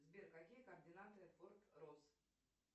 сбер какие координаты форт росс